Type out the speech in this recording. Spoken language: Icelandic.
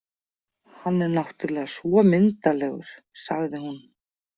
Hann er náttúrlega svo myndarlegur, sagði hún.